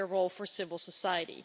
a greater role for civil society.